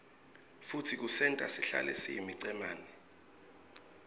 futsi kusenta sihlale siyimicemane